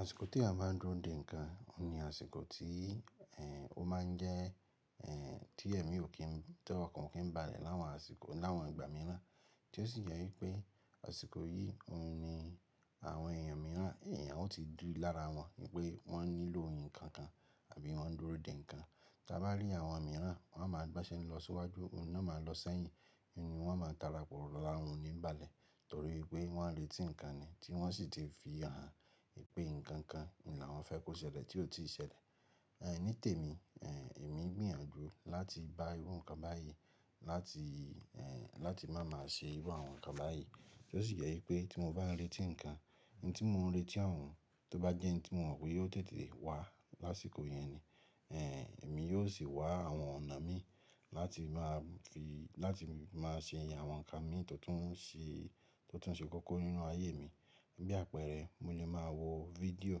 Àsìkò tí eeyan ba dúró de ńǹkan, òun ni àsìkò tí, ẹ́, ó máa ń jẹ́, ẹ́, tí èmi ò kí n t'ọ́kan kí n ba àlẹ̀ láwọn àsìkò, láwọn ìgbà mìíràn. Tí ó sì jẹ wípé àsìkò yìí òun ni àwọn èèyàn mìíràn, èèyàn ó ti dúró lára wọn wípé wọ́n nílò nǹkan kan àbí wọ́n ń dúró de ńǹkan. Tí a bá rí àwọn mìíràn wọ́n máa gbaṣẹ́ ni lọ síwájú, òun náà máa lọ sẹ́yìn. Nínu wọ́n máa ń tara pọ̀ lọ́lá òun ò níbalẹ̀ torí pé wọ́n ń retí ǹkan ni tí wọ́n sì ti fi hàn wípé ǹkan kan ni àwọn fẹ́ kó ṣẹlẹ̀ tí ó ti ṣẹlẹ̀. Ẹ̀ ní tèmi, ẹ́, èmi gbìyànjú láti bá irú ǹkan báyìí láti, ẹ́, láti máa má ṣe irú àwọn ǹkan báyìí. Tí ó sì jẹ wípé tí mo bá retí ǹkan, ohun tí mò ń retí òun tó bá jẹ́ ohun tí mo mọ̀ pé yóò tètè wá lásìkò yẹn ni, ẹ́, èmi yóò sì wá àwọn ọ̀nà mi láti máa fi, láti máa ṣe iye àwọn ǹkan mi tó tún sì, tó tún sì kọ́kọ́ nínú ayé mi. Bí àpẹẹrẹ, mo lè máa wo fídíò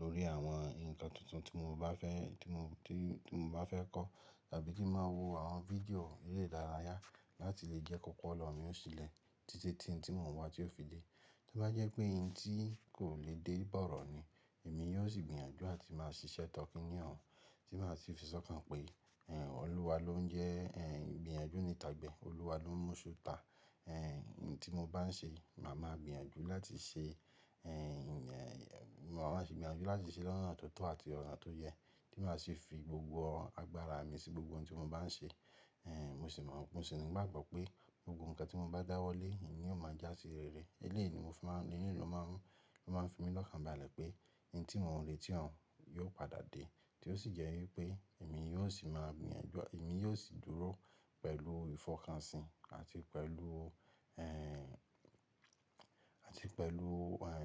lórí àwọn ǹkan tuntun tí mo bá fẹ́, tí mo, tí mo bá fẹ́ kọ́ tàbí tí màá wo àwọn fídíò eré ìdárayá láti lè jẹ́ kòkò ọ̀pọ̀lo mi ó ṣilẹ̀ títí tí ohun tí mò ń wá tí ó fi dé. To bá jẹ́ pé ihn tí kò lè dé bọ̀rọ̀ ni, èmi yóò sì gbìyànjú áti máa ṣiṣẹ́ tọ́ kiní oun tí màá sì fi sọ́kàn pé, ẹ́, Ọlúwa ló ń jẹ́, ẹ́, igbìyànjú nítàgbẹ. Ọlúwa ló ń mú ṣú tà. Ẹ́, ohun tí mo bá ń ṣe, màá máa gbìyànjú láti ṣe, ẹ́, mo máa gbìyànjú láti ṣe lọ́nà tó tọ́ àti ọ̀nà tó yẹ. Tí màá sì fi gbogbo agbára mi sí gbogbo ohun tí mo bá ń ṣe. Ẹ́, mo sì mọ̀, mo sì ní bá gbọ́ pé gbogbo ǹkan tí mo bá dáwọ́lé, ìní ò máa jásí rere. Eléèni mo fi máa ń, eléèni ló máa ń, ló máa ń fi mí lọ́kàn bá'àlẹ̀ pé ohun tí mò ń retí òun yóò padà dé. Tí ó sì jẹ́ wípé èmi yóò sì máa gbìyànjú, èmi yóò sì dúró pẹ̀lú ìfọkànsìn àti pẹ̀lú, ẹ́, àti pẹ̀lú, ẹ́,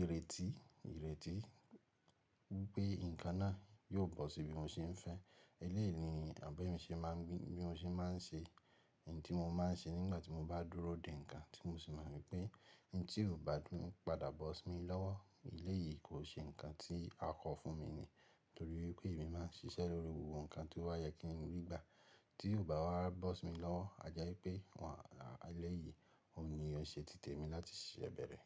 ìrètí, ìrètí pé ǹkan náà yóò bọ́ síbi mo ṣe ń fẹ́. Eléèni àbẹ́mi ṣe má ń gbé, bí mo ṣe má ń ṣe ohun tí mo má ń ṣe nígbà tí mo bá dúró de ǹkan tí mo sì mọ̀ wípé ohun tí ò bá dùn padà bọ́ sí mi lọ́wọ́ eléèyí kò ṣe ǹkan tí a kọ fún mi ni. Torí wípé èmi máa ń ṣiṣẹ́ lórí gbogbo ǹkan tí ó bá yẹ kí n rí gbà tí ò bá wá bọ́ sí mi lọ́wọ́. À'jeípé wọ́n à eléèyìí òun ni ó ṣe títè mi láti ṣiṣẹ́ bẹ̀rẹ̀.